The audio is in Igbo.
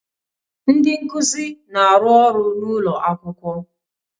Ndị nkuzi na-arụ ọrụ n'ụlọ akwụkwọ